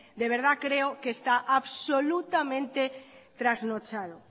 de verdad creo que está absolutamente trasnochado